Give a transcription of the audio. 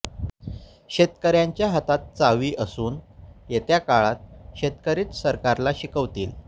शेतकऱ्यांच्या हातात चावी असून येत्या काळात शेतकरीच सरकारला शिकवतील